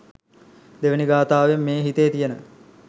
දෙවෙනි ගථාවෙන් මේ හිතේ තියෙන